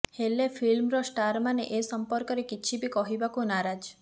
ହେଲେ ଫିଲ୍ମର ଷ୍ଟାରମାନେ ଏ ସମ୍ପର୍କରେ କିଛି ବି କହିବାକୁ ନାରାଜ